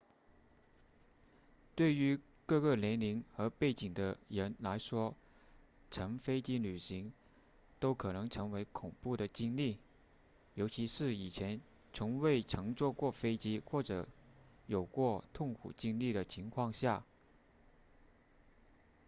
对于各个年龄和背景的人来说乘飞机旅行都可能成为恐怖的经历尤其是在以前从未乘坐过飞机或有过痛苦经历的情况下